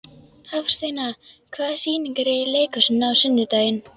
Hafsteina, hvaða sýningar eru í leikhúsinu á sunnudaginn?